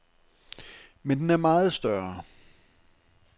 Men den er meget større.